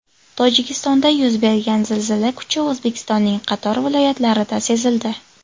Tojikistonda yuz bergan zilzila kuchi O‘zbekistonning qator viloyatlarida sezildi.